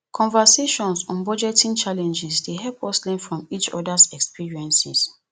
conversations on budgeting challenges dey help us learn from each others experiences